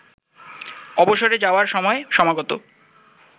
অবসরে যাওয়ার সময় সমাগত